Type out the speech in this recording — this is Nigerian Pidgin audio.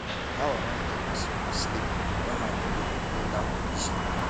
how i wan take sleep wen my nebor dey play loud music